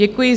Děkuji.